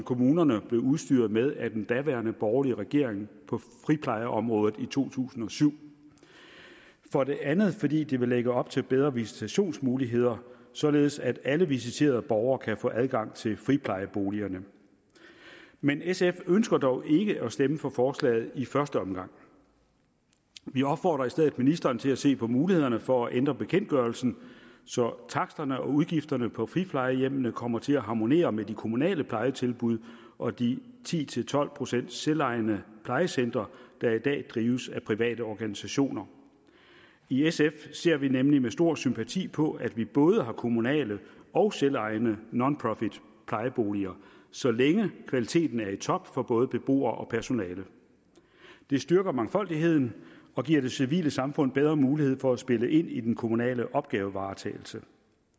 kommunerne blev udstyret med af den daværende borgerlige regering på friplejeområdet i to tusind og syv og for det andet fordi det vil lægge op til bedre visitationsmuligheder således at alle visiterede borgere kan få adgang til friplejeboligerne men sf ønsker dog ikke at stemme for forslaget i første omgang vi opfordrer i stedet ministeren til at se på mulighederne for at ændre bekendtgørelsen så taksterne og udgifterne på friplejehjemmene kommer til at harmonere med de kommunale plejetilbud og de ti til tolv procent selvejende plejecentre der i dag drives af private organisationer i sf ser vi nemlig med stor sympati på at vi både har kommunale og selvejende nonprofitplejeboliger så længe kvaliteten er i top for både beboere og personale det styrker mangfoldigheden og giver det civile samfund bedre mulighed for at spille ind i den kommunale opgavevaretagelse